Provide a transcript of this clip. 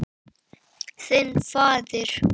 Þinn faðir.